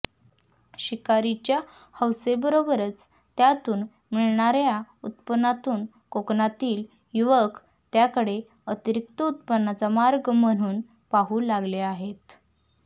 शिकारीच्या हौसेबरोबरच त्यातून मिळणाऱ्या उत्पन्नातून कोकणातील युवक त्याकडे अतिरिक्त उत्पन्नाचा मार्ग म्हणून पाहू लागले आहेत